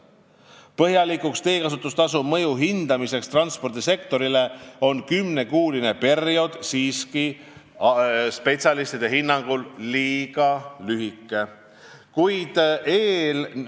Spetsialistide hinnangul on kümnekuuline periood siiski liiga lühike selleks, et põhjalikult hinnata teekasutustasu mõju transpordisektorile.